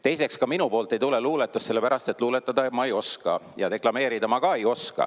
Teiseks, ka minu poolt ei tule luuletust, sellepärast et luuletada ma ei oska ja deklameerida ma ka ei oska.